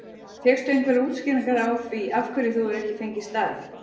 Fékkstu einhverjar útskýringar á því af hverju þú hefur ekki fengið starf?